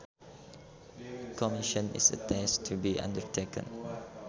A commission is a task to be undertaken